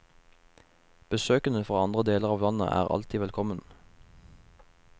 Besøkende fra andre deler av landet er alltid velkommen.